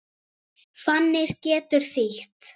Fanir getur þýtt